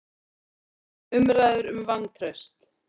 Umræður um vantraust